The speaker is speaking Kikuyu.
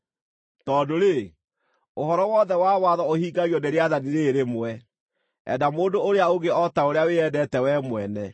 Tondũ-rĩ, ũhoro wothe wa watho ũhingagio nĩ rĩathani rĩĩrĩ rĩmwe: “Enda mũndũ ũrĩa ũngĩ o ta ũrĩa wĩendete wee mwene.”